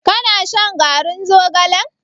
Ka na shan garin zogalen?